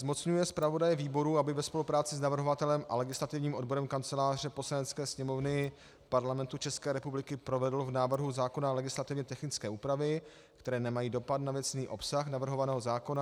Zmocňuje zpravodaje výboru, aby ve spolupráci s navrhovatelem a legislativním odborem Kanceláře Poslanecké sněmovny Parlamentu České republiky provedl v návrhu zákona legislativně technické úpravy, které nemají dopad na věcný obsah navrhovaného zákona.